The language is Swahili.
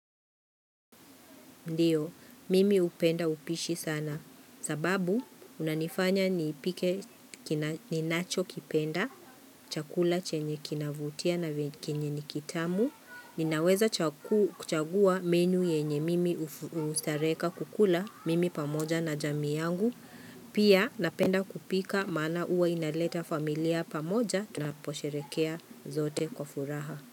Ndio, mimi hupenda upishi sana. Sababu, unanifanya ni ipike ninacho kipenda, chakula chenye kinavutia na kenye ni kitamu. Ninaweza kuchagua menu yenye mimi hustareka kukula mimi pamoja na jamii yangu. Pia, napenda kupika maana huwa inaleta familia pamoja tunaposherekea zote kwa furaha.